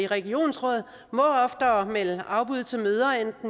regionsråd må oftere melde afbud til møder